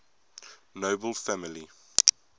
nobel family